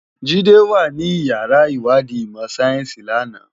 Jide wá ni iyàrá iwádi imò sáyénsi làná